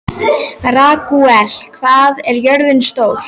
Ragúel, hvað er jörðin stór?